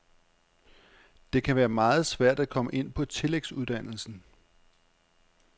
Det kan være meget svært at komme ind på tillægsuddannelsen.